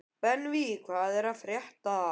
Benvý, hvað er að frétta?